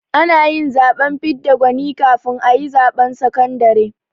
Ana yin zaɓen fidda gwani kafin a yi zaɓen sakandare